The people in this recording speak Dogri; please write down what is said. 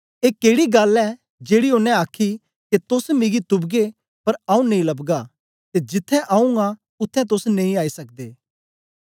ए केड़ी गल्ल ऐ जेड़ी ओनें आखी के तोस मिगी तुपगे पर आऊँ नेई लबगा ते जिथें आऊँ आं उत्थें तोस नेई आई सकदे